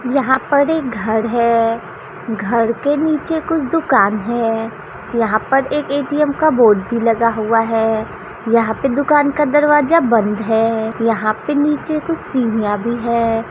यहाँ पर एक घर है घर के नीचे कुछ दुकान है यहाँ पर एक ए _टी_एम का बोर्ड भी लगा हुआ है यहाँ पे दुकान का दरवाजा बंद है यहां पे नीचे कुछ सिडिया भी है।